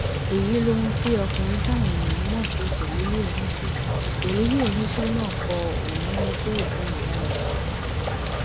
èyí lohun tí ọkùnrin táwọn èèyàn mọ sí jélílì onísọ jélílì onísọ náà kọ òní lójoòbí ìyá mi pàtàkì